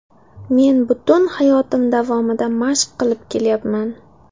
Men butun hayotim davomida mashq qilib kelyapman.